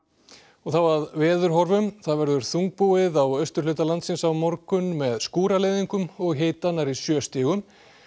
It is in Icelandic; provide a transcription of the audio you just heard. þá að veðurhorfum það verður þungbúið á austurhluta landsins á morgun með og hita nærri sjö stigum